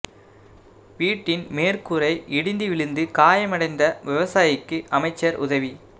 வீட்டின் மேற்கூரை இடிந்து விழுந்து காயமடைந்த விவசாயிக்கு அமைச்சா் உதவி